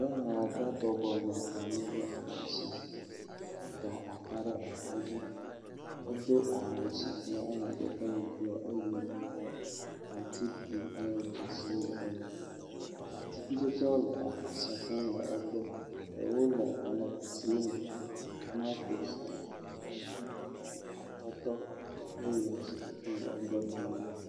Nyɔnu aɖe bɔbɔnɔ anyi ɖe afisia, eda ata ɖe ata dzi, edo awu sike ƒe amadede nye bluɔ eye aŋutiɖiɖi ƒe dzesiwo le eme. Atsikutsetsewo le afisia fũu le egbɔ, ɖewo le aŋe kusiwo me; tomantos, atadi, atɔtɔ, peya wole egbɔ fũu.